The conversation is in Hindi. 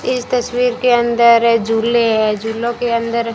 इस तस्वीर के अंदर झूले है झूलो के अंदर--